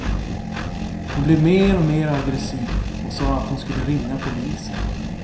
Hon blev mer och mer aggressiv och sa att hon skulle ringa polisen.